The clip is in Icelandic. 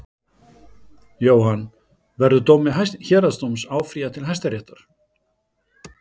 Jóhann: Verður dómi héraðsdóms áfrýjað til Hæstaréttar?